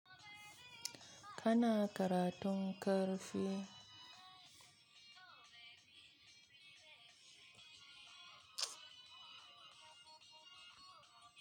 Kana karatun ƙarfe.